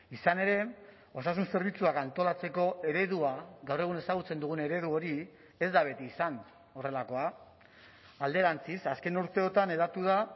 izan ere osasun zerbitzuak antolatzeko eredua gaur egun ezagutzen dugun eredu hori ez da beti izan horrelakoa alderantziz azken urteotan hedatu da